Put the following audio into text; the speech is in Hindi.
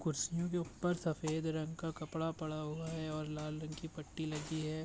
कुर्सियों के ऊपर सफेद रंग का कपड़ा पड़ा हुआ है और लाल रंग की पट्टी लगी है।